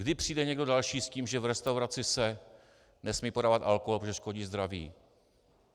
Kdy přijde někdo další s tím, že v restauraci se nesmí podávat alkohol, protože škodí zdraví?